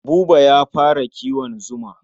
Buba ya fara kiwon zuma.